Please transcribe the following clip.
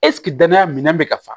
Ɛseke danaya minɛn bɛ ka fa